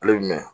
Ale bɛ mɛn